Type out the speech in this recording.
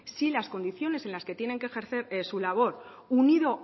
si las condiciones en las que tienen que ejercer su labor unido